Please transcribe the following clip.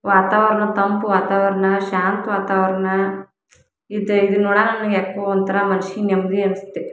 ವಾತವರಣ ತಂಪು ವಾತವರಣ ಶಾಂತ ವಾತವರಣ ಇದೆ ಇದ್ನ ನೋಡಾಣ ಯಾಕೊ ಒಂತರ ಮನಸ್ಸಿಗೆ ನೆಮ್ಮದಿ ಅನ್ಸುತ್ತೆ.